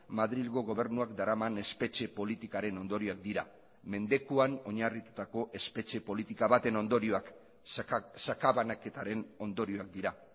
madrilgo gobernuak daraman espetxe politikaren ondorioak dira mendekuan oinarritutako espetxe politika baten ondorioak sakabanaketaren ondorioak dira